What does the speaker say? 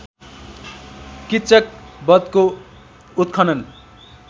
किच्चक वधको उत्खनन